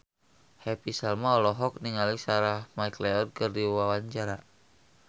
Happy Salma olohok ningali Sarah McLeod keur diwawancara